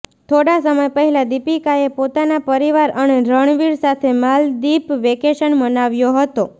થોડા સમય પહેલા દીપિકાએ પોતાના પરિવાર અને રણવીર સાથે માલદીપ વેકેશન મનાવ્યો હતો